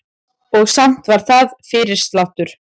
Og samt var það fyrirsláttur.